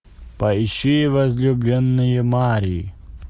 поищи возлюбленные марии